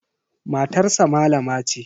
Matarsa malama ce.